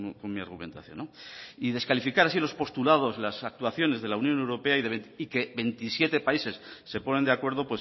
con mi argumentación descalificar así los postulados las actuaciones de la unión europea y que veintisiete países se ponen de acuerdo